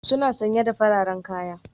Suna sanye da fararen kaya.